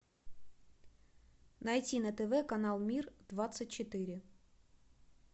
найти на тв канал мир двадцать четыре